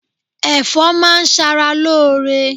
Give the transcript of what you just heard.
Ẹ̀fọ́ máa ń ṣara lóore.